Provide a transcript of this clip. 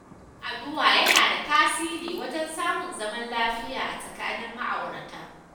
Yin addu'a yana da tasiri wajen samun zaman lafiya a tsakanin ma'aurata.